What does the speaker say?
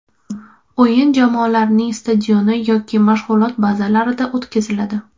O‘yin jamoalarning stadioni yoki mashg‘ulot bazalarida o‘tkaziladi.